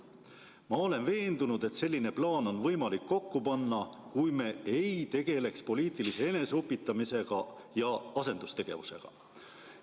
Ma olen veendunud, et selline plaan on võimalik kokku panna, kui me ei tegeleks poliitilise eneseupitamisega ja asendustegevusega.